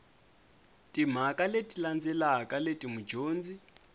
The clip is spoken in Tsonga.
timhaka leti landzelaka leti mudyondzi